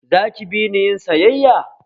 Za ki bini yin sayayya?